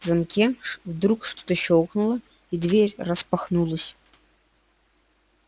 в замке вдруг что-то щёлкнуло и дверь распахнулась